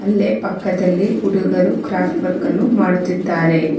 ಅಲ್ಲೇ ಪಕ್ಕದಲ್ಲಿ ಹುಡುಗರು ಕ್ರಾಫ್ಟ್ ವರ್ಕ್ ಅನ್ನು ಮಾಡುತ್ತಿದ್ದಾರೆ.